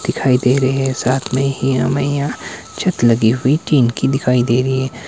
दिखाई दे रहे हैं साथ में ही हमें यहां छत लगी हुई टिन कि दिखाई दे रही है।